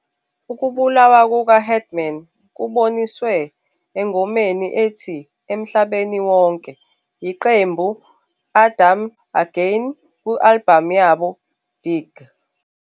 Ukubulawa kuka-Headman kuboniswe engoma ethi "Emhlabeni Wonke" yiqembu Adam Again ku-album yabo Dig.